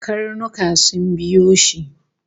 Karnuka sun biyo shi